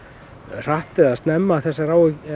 hratt eða snemma þessar